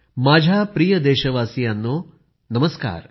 माझ्या प्रिय देशवासियांनो नमस्कार